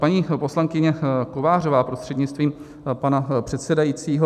Paní poslankyně Kovářová prostřednictvím pana předsedajícího.